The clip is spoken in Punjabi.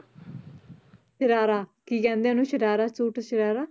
ਸਰਾਰਾ ਕੀ ਕਹਿੰਦੇ ਆ ਉਹਨੂੰ ਸਰਾਰਾ ਸੂਟ ਸਰਾਰਾ,